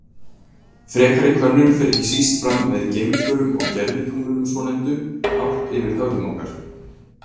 Frekari könnun fer ekki síst fram með geimförum og gervitunglunum svonefndu, hátt yfir höfðum okkar.